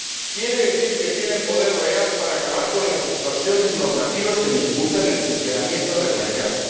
quiere decir que tienen poder real para acabar con las distorsiones normativas que dificultan el funcionamiento del mercado